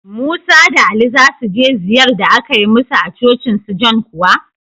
Musa da Ali za su je ziyar da aka yi musu a cocin su John kuwa?